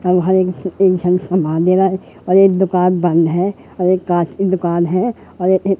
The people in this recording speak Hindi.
सामान दे रहा है और एक दुकान बंद है और एक कांच की दुकान है और ये--